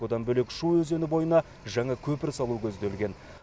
одан бөлек шу өзені бойына жаңа көпір салу көзделген